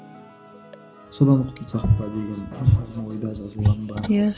содан құтылсақ па деген ойда иә